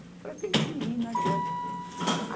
Falei, eu tenho que ir, não adianta.